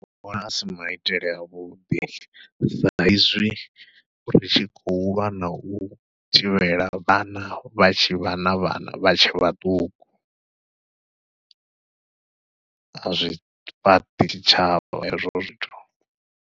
Ndi vhona asi maitele a vhuḓi sa izwi ri tshi khou lwa nau thivhela vhana vha tshi vha na vhana vha tshe vhaṱuku, a zwi fhaṱi tshitshavha hezwo zwithu.